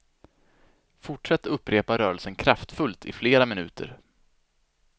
Fortsätt upprepa rörelsen kraftfullt i flera minuter.